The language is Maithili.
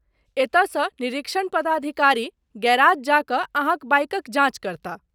एतयसँ निरीक्षण पदाधिकारी गैराज जा कऽ अहाँक बाइकक जाँच करताह।